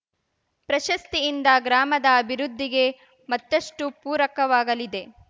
ಪ್ರಶಸ್ತಿಯಿಂದ ಗ್ರಾಮದ ಅಭಿವೃದ್ಧಿಗೆ ಮತ್ತಷ್ಟುಪೂರಕವಾಗಲಿದೆ